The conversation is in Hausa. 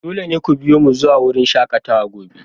Dole ne ku biyo mu zuwa wurin shakatawa gobe!